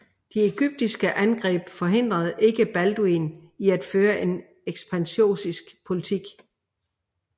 De egyptiske angreb forhindrede ikke Balduin i at føre en ekspansionistisk politik